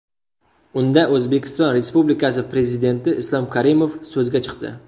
Unda O‘zbekiston Respublikasi Prezidenti Islom Karimov so‘zga chiqdi.